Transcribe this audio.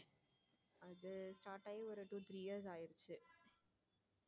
அது start ஆகி ஒரு two three years ஆயிடுச்சு.